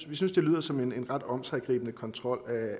vi synes det lyder som en ret omsiggribende kontrol